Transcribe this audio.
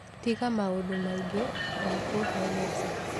Tiga maũndũ maingi ndakuhe mbeca